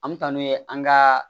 An bɛ taa n'u ye an ka